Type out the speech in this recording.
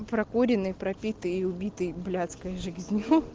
прокуренный пропитый и убитый блядская жизню